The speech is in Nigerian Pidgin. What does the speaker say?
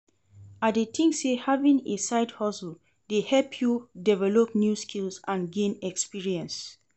I dey think say having a side-hustle dey help you develop new skills and gain experience.